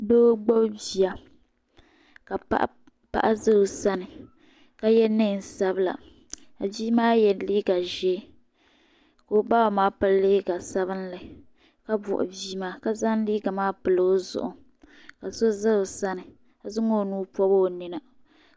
Doo gbubi bia ka paɣa za o sani ka yiɛ nɛɛn sabila ka bia maa yiɛ liiga zɛɛ ka o baba maa pili liiga sabinli ka buɣi bia maa ka zaŋ liiga maa pili o zuɣu ka so za o sani ka zaŋ oo nuu pɔbi o nina.